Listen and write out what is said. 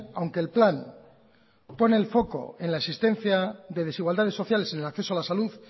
aunque el plan pone el foco en la existencia de desigualdades sociales en el acceso a la salud